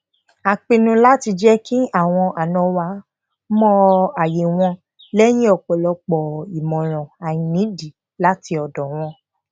wá a ní kí wón ṣe ìtọjú fún ìrora iṣan àti àìlera ara